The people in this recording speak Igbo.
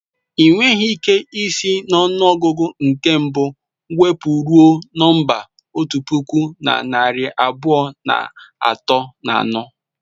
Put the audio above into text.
Ị nweghị ike isi n'ọnụọgụ nke mbụ wụpụ ruo nọmba otu puku na narị abụọ na atọ na anọ.